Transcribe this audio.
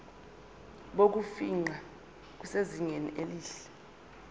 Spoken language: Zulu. bokufingqa busezingeni elihle